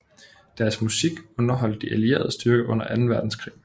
Deres musik underholdt de allierede styrker under anden verdenskrig